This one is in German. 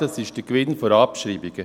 Das ist der Gewinn vor Abschreibungen.